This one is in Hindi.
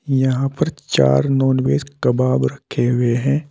यहां पर चार नॉनवेज कबाब रखे हुए हैं।